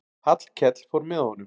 Hallkell fór með honum.